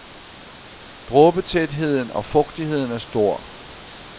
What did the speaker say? Dråbetætheden og fugtigheden er stor.